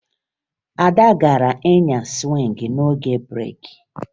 Ada gara nyaa sụwịngị n'oge breeki